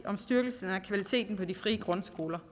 om styrkelsen af kvaliteten på de frie grundskoler